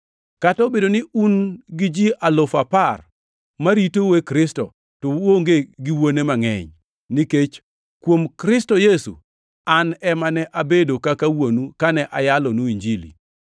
Kata obedo ni un gi ji alufu apar ma ritou e Kristo, to uonge gi wuone mangʼeny, nikech kuom Kristo Yesu, an ema ne abedo kaka wuonu kane ayalonu Injili.